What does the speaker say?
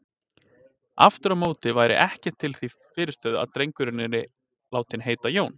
Aftur á móti væri ekkert því til fyrirstöðu að drengurinn yrði látinn heita Jón.